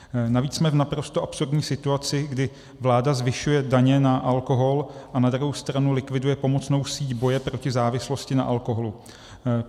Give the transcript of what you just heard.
Navíc jsme v naprosto absurdní situaci, kdy vláda zvyšuje daně na alkohol a na druhou stranu likviduje pomocnou síť boje proti závislosti na alkoholu.